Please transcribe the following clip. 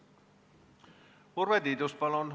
Urve Tiidus, palun!